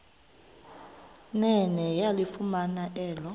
nene yalifumana elo